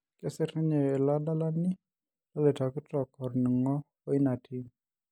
Kesir ninye ilo adalani leloitoktok orning'o oina tim.